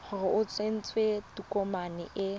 gore o tsentse tokomane e